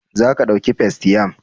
Za ka ɗauki Festaym?